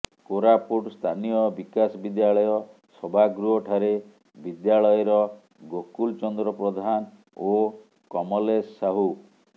କୋରାପୁଟ ସ୍ଥାନୀୟ ବିକାଶ ବିଦ୍ୟାଳୟ ସଭାଗୃହଠାରେ ବିଦ୍ୟାଳୟର ଗୋକୁଲ ଚନ୍ଦ୍ର ପ୍ରଧାନ ଓ କମଲେଶ ସାହୁ